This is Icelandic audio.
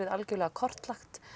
algerlega kortlagt